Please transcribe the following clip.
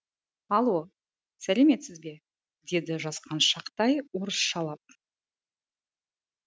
алло сәлеметсіз бе деді жасқаншақтай орысшалап